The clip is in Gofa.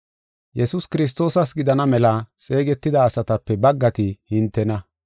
Yesuus Kiristoosas gidana mela xeegetida asatape baggati hintena.